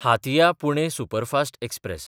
हातिया–पुणे superfast express